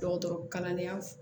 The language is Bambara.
Dɔgɔtɔrɔ kalandenya